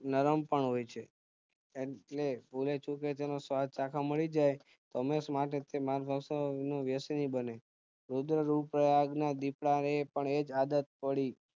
નરમ પણ હોય છે એટલે ભૂલેચુકે તેનો સ્વાદ ચાખવા મળીજાય તો હંમેશ માટે તે માણસ ભક્ષ નો વ્યસની બને રુદ્રપ્રયાગ ના દીપડાને પણ એજ આદત પડી